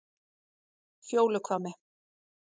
Fjóluhvammi